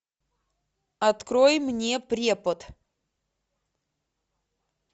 открой мне препод